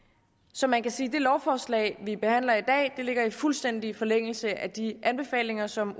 så man kan sige at det lovforslag vi behandler i dag ligger i fuldstændig forlængelse af de anbefalinger som